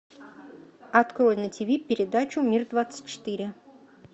открой на тв передачу мир двадцать четыре